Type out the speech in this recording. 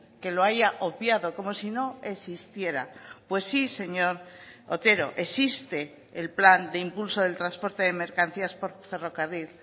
que lo haya obviado como si no existiera pues sí señor otero existe el plan de impulso del transporte de mercancías por ferrocarril